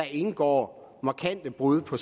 indgår markante brud på